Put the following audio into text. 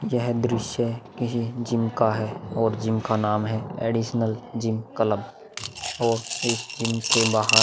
यह दृश्य किसी जिम का है और जिम का नाम है एडिशनल जिम क्लब और इस जिम के बाहर--